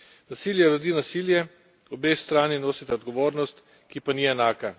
Nasilje rodi nasilje, obe strani nosita odgovornost, ki pa ni enaka.